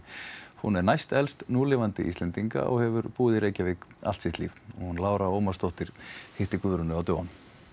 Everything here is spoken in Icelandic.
hún er næstelst núlifandi Íslendinga og hefur búið í Reykjavík allt sitt líf Lára Ómarsdóttir hitti Guðrúnu á dögunum